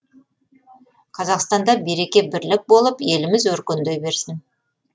қазақстанда береке бірлік болып еліміз өркендей берсін